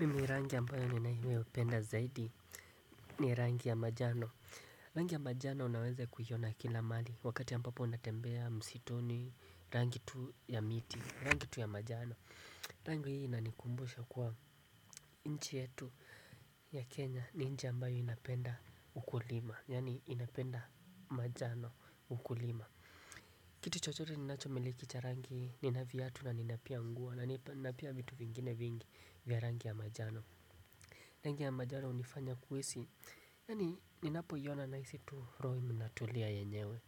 Mimi rangi ambayo ninayoipenda zaidi ni rangi ya manjano. Rangi ya manjano unaweza kuiona kila mahali wakati ya ambapo unatembea msituni, rangi tu ya miti, rangi tu ya manjano. Rangi hii inanikumbusha kuwa nchi yetu ya Kenya ni nchi ambayo inapenda ukulima. Yaani inapenda manjano, ukulima. Kitu chochote ninachomiliki cha rangi, nina viatu na nina pia nguo na pia vitu vingine vingi vya rangi ya manjano. Rangi ya majari hunifanya kuhisi, yaani ninapoiona nahisi tu rohominatulia yenyewe.